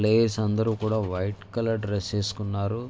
Players అందరూ కూడా white colour dress వేసుకున్నారు.